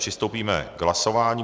Přistoupíme k hlasování.